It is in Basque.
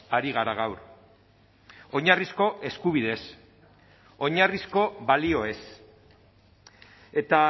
ari gara gaur oinarrizko eskubideez oinarrizko balioez eta